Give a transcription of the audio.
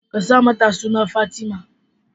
Ka sa mata suna Fatima.